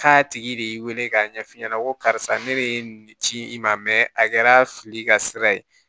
K'a tigi de wele k'a ɲɛf'i ɲɛna ko karisa ne bɛ nin ci i ma a kɛra fili ka sira ye